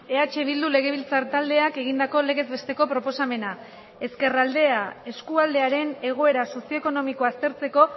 eh bildu legebiltzar taldeak egindako legez besteko proposamena ezkerraldea eskualdearen egoera sozioekonomikoa aztertzeko